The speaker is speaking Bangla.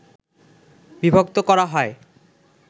বিভক্ত করা হয়